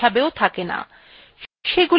সেগুলি হল internal commands